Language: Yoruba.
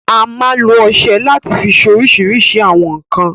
A máa n lo ọsẹ lati fi ṣe oríṣìíríṣìí àwọn nkan